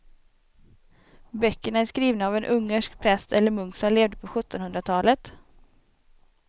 Böckerna är skrivna av en ungersk präst eller munk som levde på sjuttonhundratalet.